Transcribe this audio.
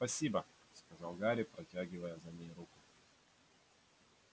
спасибо сказал гарри протягивая за ней руку